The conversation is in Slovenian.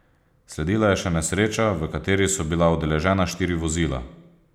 Sledila je še nesreča, v kateri so bila udeležena štiri vozila.